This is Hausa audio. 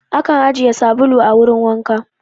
Akan ajiye sabulu a wurin wanka